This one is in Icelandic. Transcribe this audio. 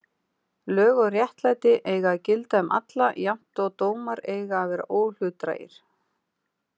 Lög og réttlæti eiga að gilda um alla jafnt og dómar eiga að vera óhlutdrægir.